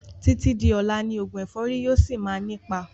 Títí di ọlá ni oògùn ẹ̀fọ́rì yìí ó síí má ni ipa